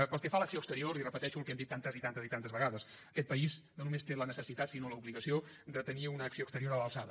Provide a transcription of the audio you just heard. pel que fa a l’acció exterior li repeteixo el que hem dit tantes i tantes i tantes vegades aquest país no només té la necessitat sinó l’obligació de tenir una acció exterior a l’alçada